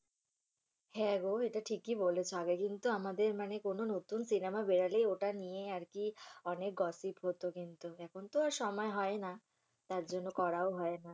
হ্যাঁগো এটা ঠিকই বলেছ আগে কিন্তু আমাদের মানে কোনো নতুন সিনেমা বেরোলেই ওটা নিয়ে আরকি অনেক gossip হতো কিন্তু এখন তো আর সময় হয়না। তার জন্য করাও হয় না।